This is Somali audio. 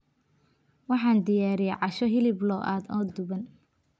Waxaan diyaariyey casho hilib lo'aad oo duban.